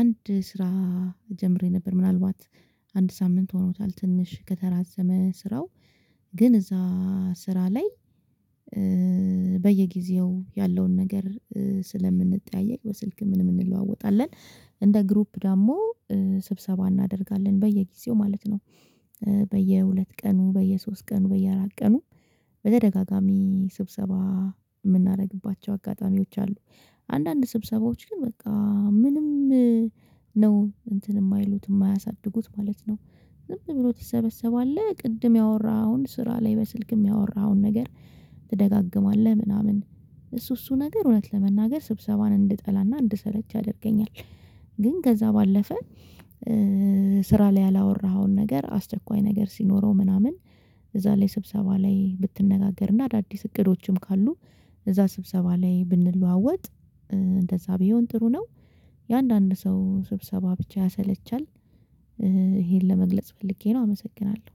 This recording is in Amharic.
አንድ ስራ ጀምሬ ነበር ምናልባት አንድ ሳምንት ሆኖታል ትንሽ ከተራዘመ ስራው ግን እዛ ስራ ላይ በየጊዜው ያለውን ነገር ስለምንጠያየቅ በስልክ ምንም እንለዋወጣለን እንደ ግሩፕ ደግሞ ስብሰባ እናደርጋለን በየጊዜው ማለት ነው በየሁለት ቀኑ በየሶስት ቀኑ በየአራት ቀኑ በተደጋጋሚ ስብሰባ የምናደርግባቸው አጋጣሚዎች አሉ። አንዳንድ ስብሰባዎች ግን በቃ ምንም ነው እንትን የማይሉት የማያሳድጉት ማለት ነው ዝም ብሎ ትሰበሰባለህ ቅድም ያወራኸውን ስራ ላይ በስልክ የሚያወራኸውን ነገር ትደጋግማለህ ምናምን እሱ እሱ ነገር እውነት ለመናገር ስብሰባን እንድጠላና እንድሰለች ያደርገኛል ግን ከዛ ባለፈ ስራ ላይ ያላወራኸውን ነገር አስደኳይ ነገር ሲኖረው ምናምን እዛ ላይ ስብሰባ ላይ ብትነጋገርና አዳዲስ እቅዶችም ካሉ እዛ ስብሰባ ላይ ብንለዋወጥ እንደዛ ቢሆን ጥሩ ነው የአንዳንድ ሰው ስብሰባ ብቻ ያሰለቻል ይሄን ለመግለጽ ፈልጌ ነው አመሰግናለሁ።